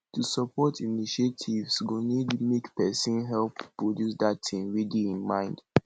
to support initiatives go need make persin help produce that thing wey de im mind